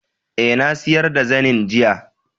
Ae, Na siyar da zanen, jiya.